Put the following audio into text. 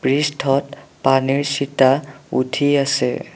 পৃষ্ঠত পানীৰ চিতা উঠি আছে।